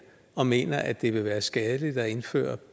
og mener at det vil være skadeligt at indføre